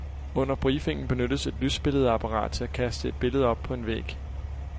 Under briefingen benyttes et lysbilledapparat til at kaste et billede op på en væg.